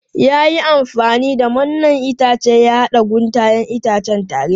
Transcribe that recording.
Ya yi amfani da mannen itace ya haɗa guntayen itacen tare.